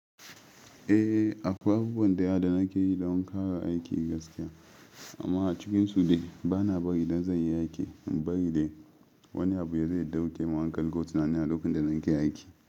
Eh, akwai abubuwan daya da nake yi don kara aikin gaskiya. Amma a cikin su dai bana bari idan zai yi aiki, bari dai wani abu yazo dauke hankali ko tunani a lokacin da nake aiki.